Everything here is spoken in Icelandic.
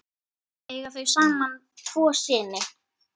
Eiga þau saman tvo syni.